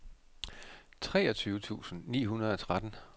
treogtyve tusind ni hundrede og tretten